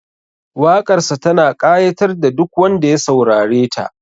Waƙarsa tana ƙayatar da duk wanda ya saurareta